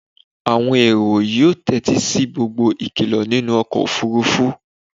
àwọn èrò yóò tétí sí gbogbo ìkìlọ nínú ọkọ̀ òfurufú